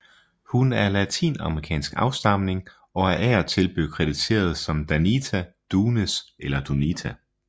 Hun er af latinamerikansk afstamning og er af og til blevet krediteret som Danita Dunes eller Donita